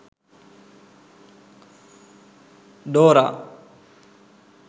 dora